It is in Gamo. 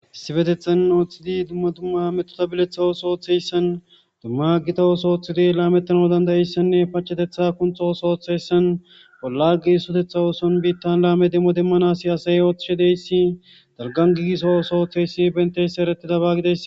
Issippeteththan oththidi dumma dumma metota beleththa oththo oththiyasanni dumma Gita oththo oththoddi lametanawu dande'iyasanne paacetetbtha kunththo oththo oththiyayisanni bolla gigisoteththanni oththonni bitan lame demo demanawu asayi oththishshe de'iyass dalgganni gigiso oththo oththiyass bentiyass eretidabba gides.